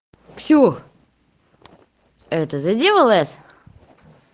ксюх это заделывается